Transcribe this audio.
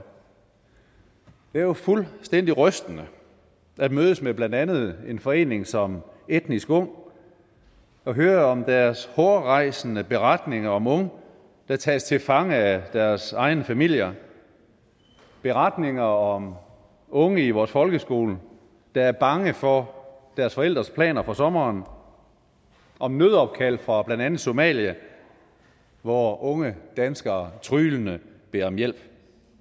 jo fuldstændig rystende at mødes med blandt andet en forening som etnisk ung og høre om deres hårrejsende beretninger om unge der tages til fange af deres egne familier beretninger om unge i vores folkeskole der er bange for deres forældres planer for sommeren om nødopkald fra blandt andet somalia hvor unge danskere tryglende beder om hjælp